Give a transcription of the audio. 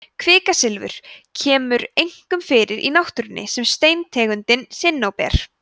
kvikasilfur kemur einkum fyrir í náttúrunni sem steintegundin sinnóber